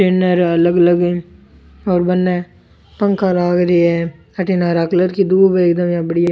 है अलग अलग और बने पंखा लाग रिया है अठीने हरा कलर की दूब है एकदम इया बढ़िया --